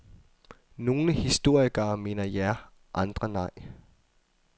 Nogle historikere mener ja, andre nej.